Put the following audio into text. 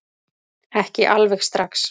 Ekki alveg strax